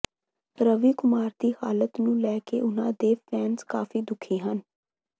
ਰਵੀ ਕੁਮਾਰ ਦੇ ਹਾਲਾਤ ਨੂੰ ਲੈ ਕੇ ਉਨ੍ਹਾਂ ਦੇ ਫੈਨਸ ਕਾਫੀ ਦੁਖੀ ਹਨ